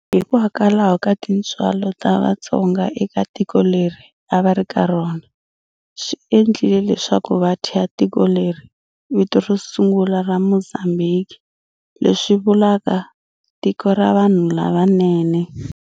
Hikwalaho ka tintswalo ta Vatsonga eka tiko leri a va ri ka rona, swi endlile leswaku va thya tiko leriya vito ro sungula ra Mozambiki leswi vulaka, Tiko ra vanhu lavanene.